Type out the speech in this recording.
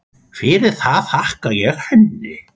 Fyrir það þakka ég henni.